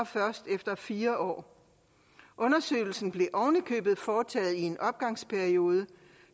først efter fire år undersøgelsen blev oven i købet foretaget i en opgangsperiode